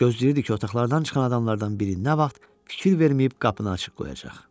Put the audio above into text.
Gözləyirdi ki, otaqlardan çıxan adamlardan biri nə vaxt fikir verməyib qapını açıq qoyacaq.